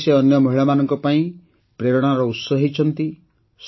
ଆଜି ସେ ଅନ୍ୟ ମହିଳାମାନଙ୍କ ପାଇଁ ପ୍ରେରଣାର ଉତ୍ସ ହୋଇପାରିଛନ୍ତି